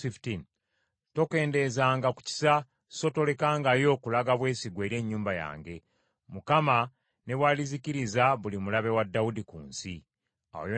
Awo Yonasaani n’akola endagaano n’ennyumba ya Dawudi ng’agamba nti, “ Mukama abonereze abalabe ba Dawudi.”